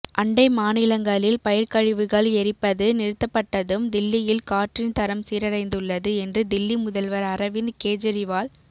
அண்டை மாநிலங்களில் பயிா்க்கழிவுகள் எரிப்பது நிறுத்தப்பட்டதும் தில்லியில் காற்றின் தரம் சீரடைந்துள்ளது என்று தில்லி முதல்வா் அரவிந்த் கேஜரிவால்